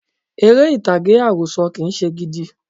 Eré ìtàgé àròsọ̀ kì í se gidi